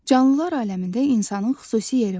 Canlılar aləmində insanın xüsusi yeri var.